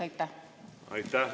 Aitäh!